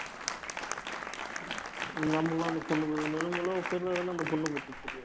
நாம எல்லாம் அந்த பொண்ண ப~ நிலமெல்லாம் அவ பேர்ல இருந்த அந்த பொண்ண பத்தி